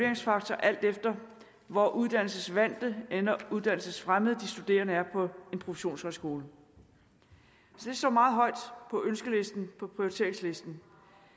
en faktor alt efter hvor uddannelsesvante eller uddannelsesfremmede de studerende er på en professionshøjskole det står meget højt på ønskelisten på prioriteringslisten